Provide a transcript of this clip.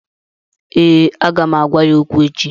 ee, Aga m ga-agwa ya okwu echi